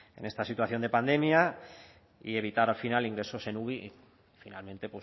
en esta situación de pandemia y evitar al final ingresos en uvi y finalmente